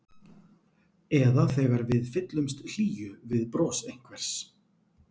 Eða þegar við fyllumst hlýju við bros einhvers.